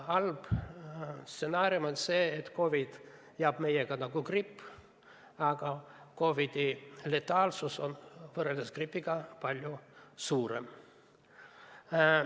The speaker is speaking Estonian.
Halb stsenaarium on see, et COVID jääb meiega nagu gripp, aga COVID-i letaalsus on võrreldes gripiga palju suurem.